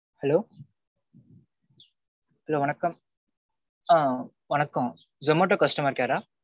Hello hello வணக்கம் ஆ வணக்கம். Zomato customer care ஆ?